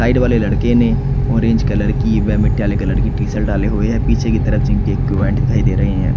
Side वाले लड़के ने ऑरेंज कलर की व मटियाले कलर की टी-सल्ट डाले हुए है। पीछे की तरफ जिम के इक्विपमेंट दिखाई दे रहे हैं।